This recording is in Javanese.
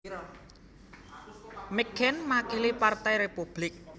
McCain makili Partai Republik